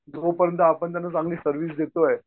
जोपर्यंत आपण त्यांना चांगली सर्व्हिस देतोय.